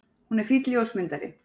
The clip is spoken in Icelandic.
Hún er fínn ljósmyndari.